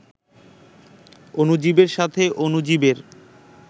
অণুজীবের সাথে অণুজীবের